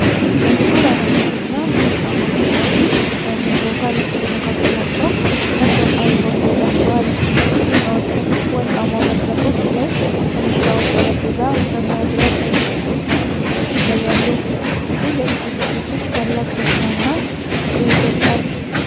ጥቁር አረንጓዴ እና ወርቃማ ፊኛዎች ግድግዳውን ሞልተውታል። በመካከላቸው ነጭ አበባዎች ተጨምረዋል። ከፊኛዎቹ ፊት ወርቃማ መድረኮች እና የመስታወት ጠረጴዛ በመብራት ያጌጡ ኬክ ማስቀመጫዎች ይታያሉ። ይህ የድግስ ዝግጅት ታላቅ ደስታና ፍቅር ይገልጻል።